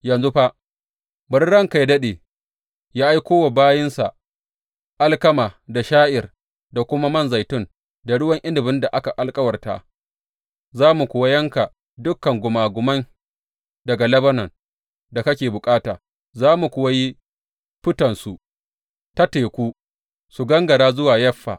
Yanzu fa, bari ranka yă daɗe, yă aiko wa bayinsa alkama da sha’ir da kuma man zaitun da ruwan inabin da ka alkawarta, za mu kuwa yanka dukan gumagumai daga Lebanon da kake bukata za mu kuwa yi fitonsu ta teku, su gangara zuwa Yaffa.